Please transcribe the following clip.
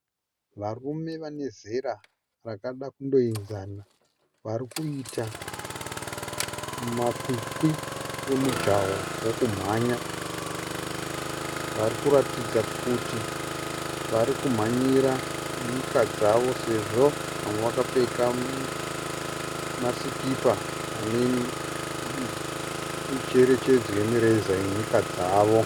Varume vanezera rakada kunoenzana varikuita makwikwi omujaho wekumhanya. Varikuratidza kuti varikumhanyira nyika dzavo sezvo vamwe vakapfeka masikipa ane mucherechedzo yemireza yenyika dzavo.